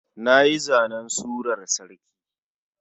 Nayi zanen surar sarki.